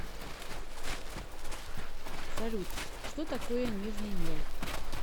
салют что такое нижний мел